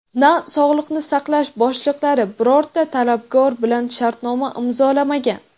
na sog‘liqni saqlash boshliqlari birorta talabgor bilan shartnoma imzolamagan.